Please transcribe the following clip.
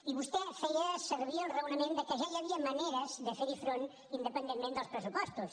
i vostè feia servir el raonament de que ja hi havia maneres de fer hi front independentment dels pressupostos